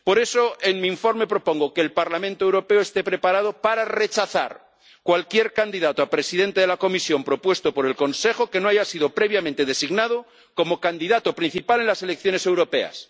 Por eso en mi informe propongo que el Parlamento Europeo esté preparado para rechazar cualquier candidato a presidente de la Comisión propuesto por el Consejo que no haya sido previamente designado como candidato principal en las elecciones europeas.